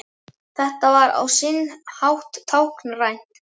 Þetta var á sinn hátt táknrænt